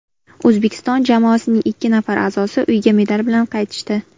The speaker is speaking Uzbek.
O‘zbekiston jamoasining ikki nafar a’zosi uyga medal bilan qaytishdi.